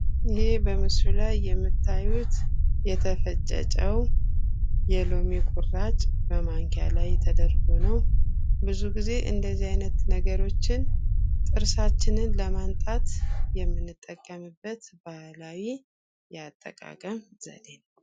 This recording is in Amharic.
ይሄ በምስሉ ላይ የምታዩት የተፈጨ ጨው፣ የሎሚ ቁራጭ በማንኪያ ላይ ተደርጎ ነው። ብዙ ጊዜ እንደዚህ አይነት ነገሮችን ጥርሳችንን ለማንጣት የምንጠቀምበት ባህላዊ የአጥቃቀም ዘዴ ነው።